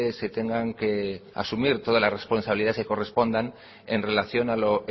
se tengan que asumir todas las responsabilidades que correspondan en relación a lo